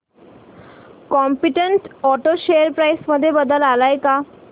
competent auto share price मध्ये बदल आलाय का